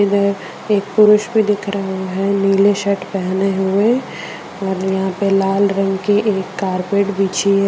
अंदर एक पुरुष भी दिख रहा है नीले शर्ट पहने हुए और यहां पे लाल रंग की एक कार्पेट बिछी है।